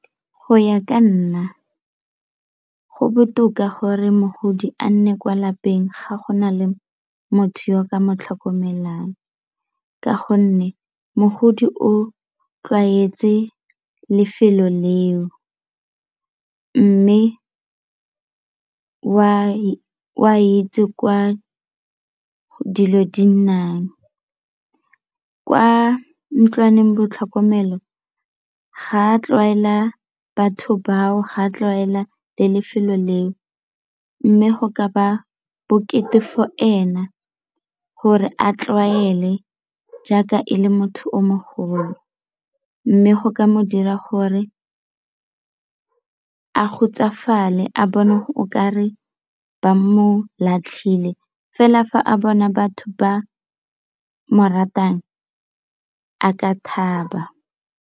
Go ya ka nna, go botoka gore mogodi a nne kwa lapeng ga gona le motho yo ka mo tlhokomelano ka gonne mogodi o tlwaetse lefelo leo mme o a itse kwa dilo di nnang kwa ntlwaneng batlhokomelo ga tlwaela batho bao ha tlwaela le lefelo leo mme go ka ba bokete for ena gore a tlwaele jaaka e le motho o mogolo mme go ka mo dira gore a hutsofalele a bone o ka re ba mo latlhile fela fa a bona batho ba mo ratang a ka thaba.